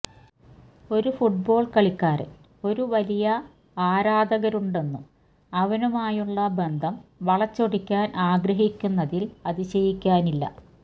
ഒരു ഫുട്ബോൾ കളിക്കാരൻ ഒരു വലിയ ആരാധകരുണ്ടെന്നും അവനുമായുള്ള ബന്ധം വളച്ചൊടിക്കാൻ ആഗ്രഹിക്കുന്നതിൽ അതിശയിക്കാനില്ല